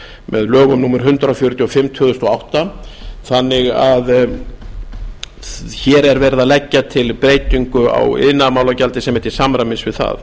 með lögum númer hundrað fjörutíu og fimm tvö þúsund og átta þannig að hér er verið að leggja til breytingu á iðnaðarmálagjaldi sem er til samræmis við það